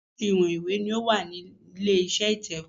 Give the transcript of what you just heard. Oríṣiríṣi ìwọ̀n ìwé ni ó wà nílé iṣẹ́ ìtẹ̀wẹ́.